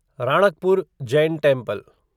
Ranakpur Jain temple